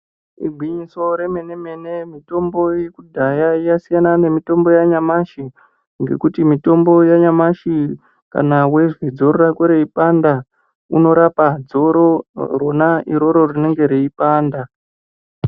Igwinyiso re mene mene mitombo yekudhaya yasiyana ne mitombo ya nyamashi ngekuti mitombo yanyamashi kana weizwa dzoro rako reipanda unorapa dzoro rona iroro rinenge reipanda.